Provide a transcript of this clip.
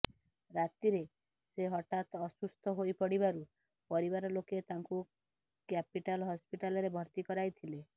ରାତିରେ ସେ ହଠାତ୍ ଅସୁସ୍ଥ ହୋଇପଡ଼ିବାରୁ ପରିବାରଲୋକେ ତାଙ୍କୁ କ୍ୟାପିଟାଲ ହସ୍ପିଟାଲରେ ଭର୍ତ୍ତି କରାଇଥିଲେ